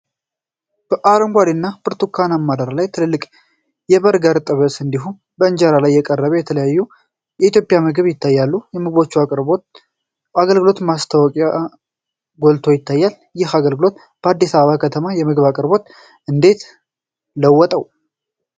በአረንጓዴና ብርቱካናማ ዳራ ላይ ትልቅ የበርገርና ጥብስ፣ እንዲሁም በእንጀራ ላይ የቀረበ የተለያየ የኢትዮጵያ ምግብ ይታያል። የምግብ አቅርቦት አገልግሎት ማስታወቂያ ጎልቶ ይታያል። ይህ አገልግሎት የአዲስ አበባ ከተማን የምግብ አቅርቦት እንዴት ለወጠው?